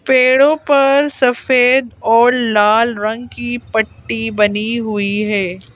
पेड़ों पर सफेद और लाल रंग की पट्टी बनी हुई है।